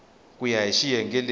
ku ya hi xiyenge lexi